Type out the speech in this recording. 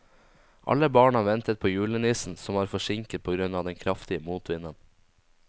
Alle barna ventet på julenissen, som var forsinket på grunn av den kraftige motvinden.